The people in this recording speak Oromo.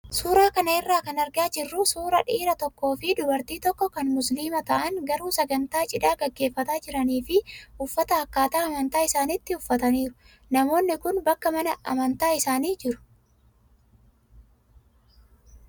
Suuraa kana irraa kan argaa jirru suuraa dhiira tokkoo fi dubartii tokko kan musliima ta'an garuu sagantaa cidhaa gaggeeffataa jiranii fi uffata akkaataa amantaa isaaniittii uffataniiru. Namoonni kun bakka mana amantaa isaanii jiru.